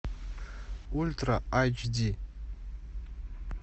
ультра айч ди